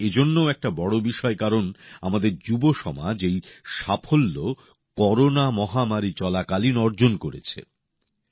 এটা এজন্যও একটা বড় বিষয় কারণ আমাদের যুব সমাজ এই সাফল্য করোনা মহামারী চলাকালীন অর্জন করেছে